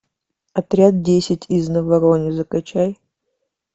отряд десять из наварона закачай